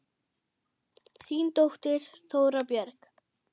Þín dóttir, Þóra Björg.